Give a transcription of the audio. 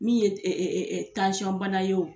Min ye ye.